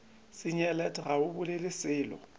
senyelet ga o bolele selo